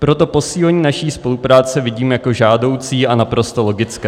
Proto posílení naší spolupráce vidím jako žádoucí a naprosto logické.